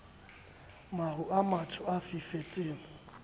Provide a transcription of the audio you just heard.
maru a matsho a fifetseng